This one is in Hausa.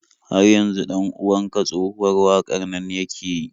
Har yanzu 'dan uwan ka tsohuwar waƙar nan yake yi?